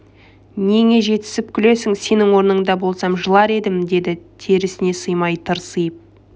неңе жетісіп күлесің сенің орныңда болсам жылар едім деді терісіне симай тырсиып